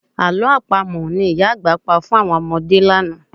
Àlọ́ Àpamọ̀ ni ìyá àgbà pa fún àwọn ọmọdé lánàá